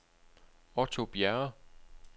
Otto Bjerre